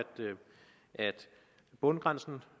bundfradraget